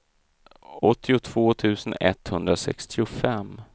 åttiotvå tusen etthundrasextiofem